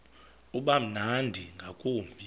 uba mnandi ngakumbi